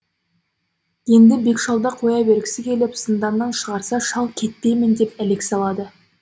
енді бек шалды қоя бергісі келіп зынданнан шығарса шал кетпеймін деп әлек салады